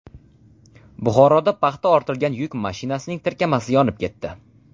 Buxoroda paxta ortilgan yuk mashinasining tirkamasi yonib ketdi.